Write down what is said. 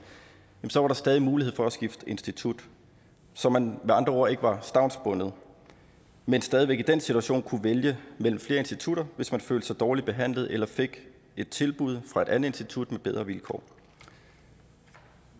så var der stadig mulighed for at skifte institut så man med andre ord ikke var stavnsbundet men stadig væk i den situation kunne vælge mellem flere institutter hvis man følte sig dårligt behandlet eller fik et tilbud fra et andet institut med bedre vilkår